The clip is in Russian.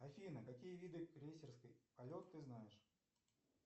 афина какие виды крейсерский полет ты знаешь